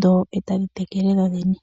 dho etadhi tekele dhodhene.